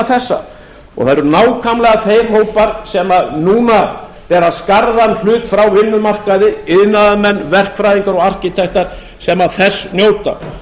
þessa það eru nákvæmlega þeir hópar sem núna bera skarðan hlut frá vinnumarkaði iðnaðarmenn verkfræðingar og arkitektar sem þess njóta